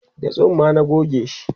da tsumma na gogeshi